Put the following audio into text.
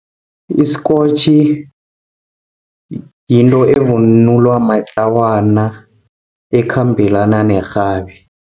Isikotjhi, yinto evunulwa matlawana ekhambelana nerhabi.